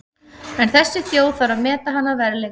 En þessi þjóð þarf að meta hann að verðleikum.